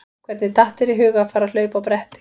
Hvernig datt þér í hug að fara að hlaupa á bretti?